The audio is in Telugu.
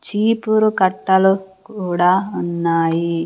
చీపురు కట్టలు కూడా ఉన్నాయి.